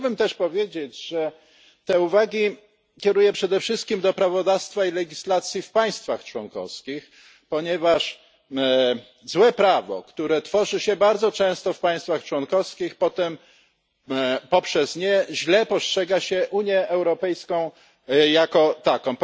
Chciałbym też powiedzieć, że te uwagi kieruję przede wszystkim do prawodawstwa i legislacji w państwach członkowskich, ponieważ przez złe prawo, które tworzy się bardzo często w państwach członkowskich, potem źle postrzega się Unię Europejską jako taką.